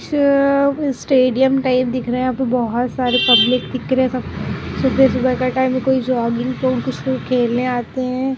सब stadium type दिख रहा है यहाँ बहुत सारे पब्लिक दिख रहे हैं सब सुबह-सुबह का टाइम है कोई जॉगिंग तो कोई कुछ लोग खेलने आते हैं।